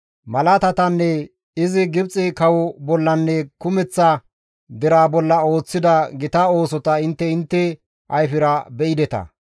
Malaatatanne izi Gibxe kawo bollanne kumeththa deraa bolla ooththida gita oosota intte intte ayfera be7ideta.